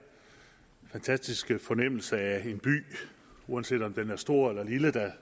fantastiske fornemmelse af en by uanset om den er stor eller lille der